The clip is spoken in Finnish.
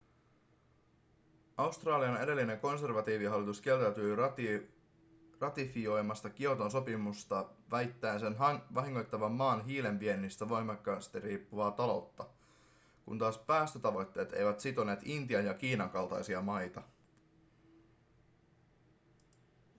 australian edellinen konservatiivihallitus kieltäytyi ratifioimasta kioton sopimusta väittäen sen vahingoittavan maan hiilen viennistä voimakkaasti riippuvaa taloutta kun taas päästötavoitteet eivät sitoneet intian ja kiinan kaltaisia maita